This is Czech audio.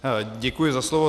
Děkuji za slovo.